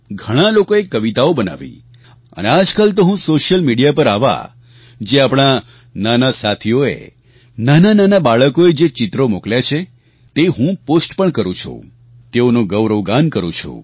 ઘણાં લોકોએ કવિતાઓ બનાવી અને આજકાલ તો હું સોશિયલ મીડિયા પર આવા જે આપણાં નાના સાથીઓએ નાનાનાના બાળકોએ જે ચિત્રો મોકલ્યા છે તે હું પોસ્ટ પણ કરું છું તેઓનું ગૌરવગાન કરું છું